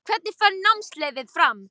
Hvernig fer námskeiðið fram?